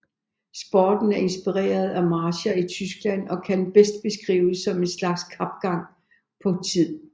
Sporten er inspireret af marcher i Tyskland og kan bedst beskrives som en slags kapgang på tid